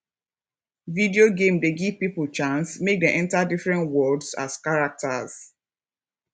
video game dey give pipo chance make dem enter different worlds as characters